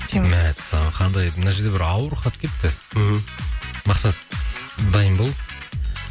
мәссаған қандай мына жерде бір ауыр хат келіпті мхм мақсат дайын бол